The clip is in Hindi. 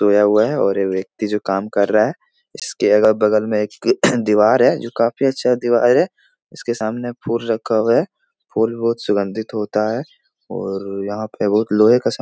धोया हुआ है और व्यक्ति जो काम कर रहा है इसके अगल-बगल में एक दीवार है जो काफ़ी अच्छा दीवार है इसके सामने फूल रखा हुआ है फूल बहुत सुगन्धित होता है और यहाँ पे बहुत लोहे का सामान --